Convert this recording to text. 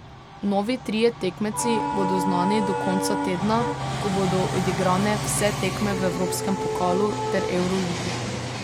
Novi trije tekmeci bodo znani do konca tedna, ko bodo odigrane vse tekme v evropskem pokalu ter evroligi.